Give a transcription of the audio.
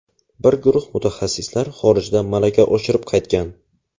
Bir guruh mutaxassislar xorijda malaka oshirib qaytgan.